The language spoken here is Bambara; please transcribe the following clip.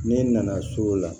Ne nana so o la